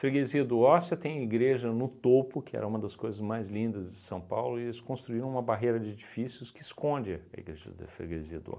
do Ó você tem a igreja no topo, que era uma das coisas mais lindas de São Paulo, e eles construíram uma barreira de edifícios que esconde a igreja da Freguesia do Ó.